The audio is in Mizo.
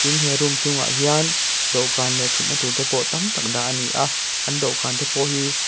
he room chhungah hian dawhkan leh thutna tur tam tak te pawh dah a ni a an dawhkan te pawh hi--